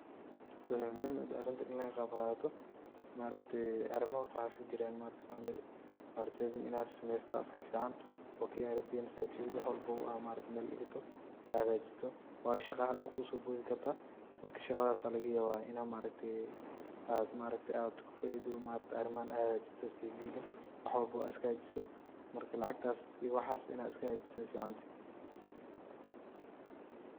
Waxay muhim utahaya arintan ini laga qaabdoh, maargtahay arima waxa iskajiran ee maargtahay family maargtahay Ina sameeystoh Aya iska fican oo kaliga wax walbo tikit maargtay meel digatoh AA hakajeesatoh bahashan daqaha duul kisobothi kartah marka shaqathasi Aya laga yabah Ina maaragtay aat kufaidoh arimahan aad listuusiyah wax walbo iskahakajisoh marka lacagtaas iyo waxaas Ina iska hakajiistoh Aya ficantahay .